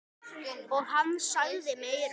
Og hann sagði meira.